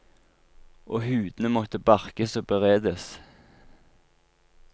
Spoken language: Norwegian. Og hudene måtte barkes og beredes.